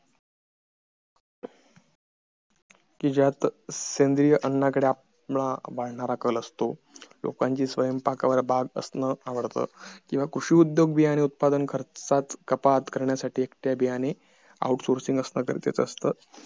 कि ज्यात सेंद्रिय अन्नाकडे वाढणारा कल असतो लोकांची स्वयंपाक वर बात असणं आवडत किंवा कृषी उद्योग बियानि उत्पादन खर्चात कपात करण्यासाठी त्या बियाणी out sourcing असणं गरजेचं असत